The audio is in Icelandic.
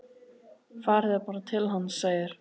Farið þið bara til hans, segir